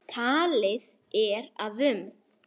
Talið er að um